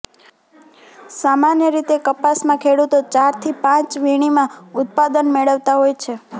સામાન્ય રીતે કપાસમાં ખેડૂતો ચારથી પાંચ વીણીમાં ઉત્પાદન મેળવતા હોય છે